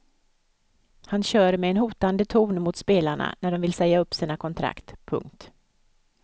Han kör med en hotande ton mot spelarna när de vill säga upp sina kontrakt. punkt